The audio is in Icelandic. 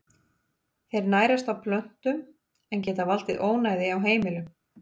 Þeir nærast á plöntum en geta valdið ónæði á heimilum.